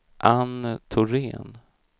Anne Thorén